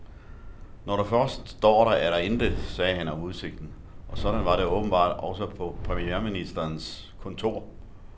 Når du først står der, er der intet, sagde han om udsigten, og sådan var det åbenbart også på premierministerens kontor.